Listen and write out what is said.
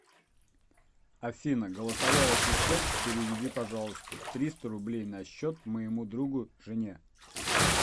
афина голосовой ассистент переведи пожалуйста триста рублей на счет моему другу жене